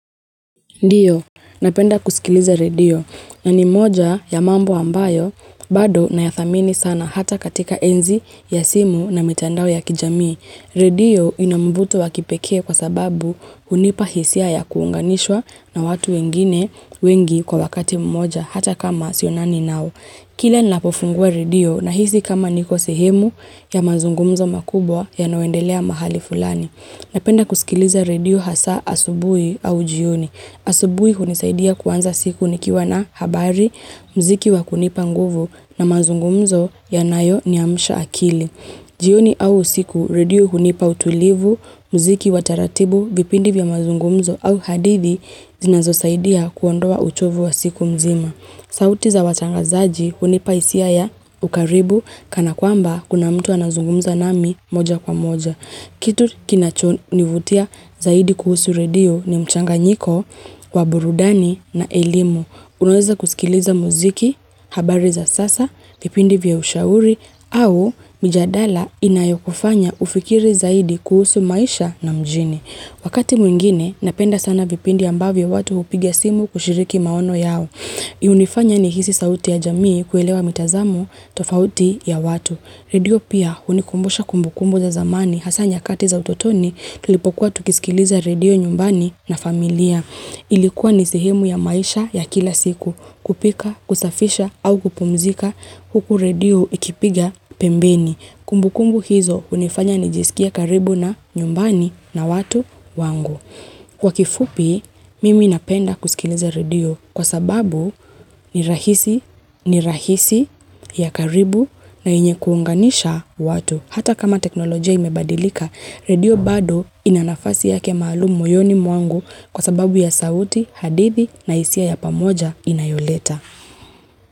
Ndiyo, napenda kusikiliza redio na ni moja ya mambo ambayo, bado nayathamini sana hata katika enzi ya simu na mitandao ya kijamii. Redio ina mvuto wa kipeke kwa sababu unipa hisia ya kuunganishwa na watu wengine wengi kwa wakati mmoja hata kama sio nani nao. Kila ninapofungua redio na hisi kama niko sehemu ya mazungumzo makubwa yanawendelea mahali fulani. Napenda kusikiliza radio hasa asubui au jioni. Asubui hunisaidia kuwanza siku nikiwa na habari, mziki wakunipa nguvu na mazungumzo yanayo niamsha akili. Jioni au siku, radio hunipa utulivu, mziki wataratibu, vipindi vya mazungumzo au hadithi zinazo saidia kuondoa uchovu wa siku mzima. Sauti za watangazaji unipa isia ya ukaribu kana kwamba kuna mtu anazungumza nami moja kwa moja. Kitu kinachonivutia zaidi kuhusu redio ni mchanganyiko, waburudani na elimu. Unweza kusikiliza muziki, habari za sasa, vipindi vya ushauri au mjadala inayokufanya ufikiri zaidi kuhusu maisha na mjini. Wakati mwingine, napenda sana vipindi ambavyo watu upiga simu kushiriki maono yao. Unifanya nihisi sauti ya jamii kuelewa mitazamo tofauti ya watu. Redio pia unikumbusha kumbukumbu za zamani hasa nyakati za utotoni tulipokuwa tukisikiliza redio nyumbani na familia. Ilikuwa nisehemu ya maisha ya kila siku kupika, kusafisha au kupumzika huku redio ikipiga pembeni. Kumbu kumbu hizo unifanya nijisikie karibu na nyumbani na watu wangu. Kwa kifupi, mimi napenda kusikileza radio kwa sababu ni rahisi ya karibu na enye kuunganisha watu. Hata kama teknolojia imebadilika, radio bado ina nafasi yake maalumu moyoni mwangu kwa sababu ya sauti, hadithi na isia ya pamoja inayoleta.